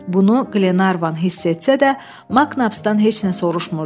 Bunu Qlenarvan hiss etsə də, Maknapsdan heç nə soruşmurdu.